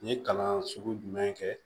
N ye kalan sugu jumɛn kɛ